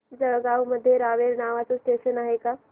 जळगाव मध्ये रावेर नावाचं स्टेशन आहे का